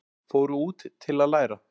Fóru út til að læra